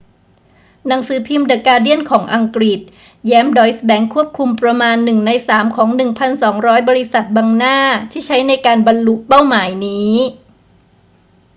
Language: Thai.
หนังสือพิมพ์เดอะการ์เดียนของอังกฤษแย้มดอยซ์แบงก์ควบคุมประมาณหนึ่งในสามของ 1200 บริษัทบังหน้าที่ใช้ในการบรรลุเป้าหมายนี้